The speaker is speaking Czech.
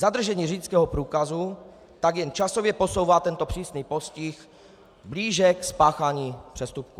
Zadržení řidičského průkazu tak jen časově posouvá tento přísný postih blíže k spáchání přestupku.